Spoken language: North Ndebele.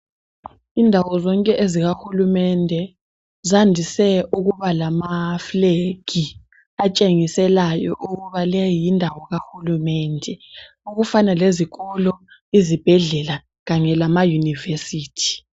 Indawo zonke ezika hulumende zandise ukuba lamafulegi atshengiselayo ukuthi leyi yindawo ka hulumende okufana lezikolo, izibhedlela kanye lama University.